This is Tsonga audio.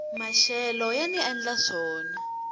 maxelo yani endla swona